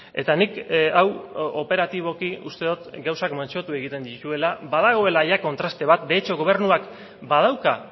eta nik hau operatiboki uste dut gauzak mantsotu egiten dituela badagoela ia kontraste bat de hecho gobernuak badauka